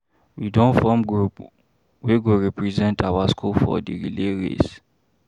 We don form group wey go represent our skool for di relay race.